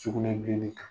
Sugunɛbilenni kan